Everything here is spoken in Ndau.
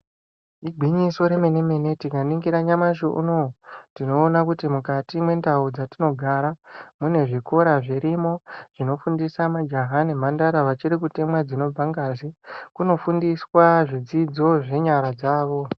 Igwinyiso remenemene tikaningira nyamashi uno tinoona kuti mukati mwendau dzatinogara mune zvikora zvirimo zvinofundisa majaha nemhandara vachiri kutemwa dzinobva ngazi kunofundiswa zvidzidzo zvenyara dzavo.